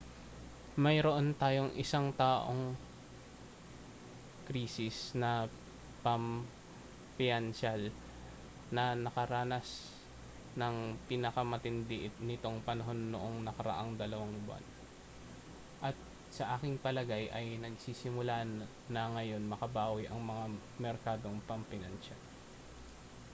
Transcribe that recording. mayroon tayong isang-taong krisis na pampinansyal na nakaranas ng pinakamatindi nitong panahon noong nakaraang dalawang buwan at sa aking palagay ay nagsisimula na ngayong makabawi ang mga merkadong pampinansyal